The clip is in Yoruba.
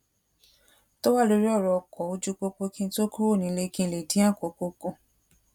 tó wà lórí òrò ọkò oju popo kí n tó kúrò nílé kí n lè dín àkókò kù